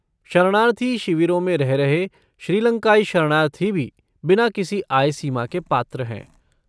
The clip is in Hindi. शरणार्थी शिविरों में रह रहे श्रीलंकाई शरणार्थी भी बिना किसी आय सीमा के पात्र हैं।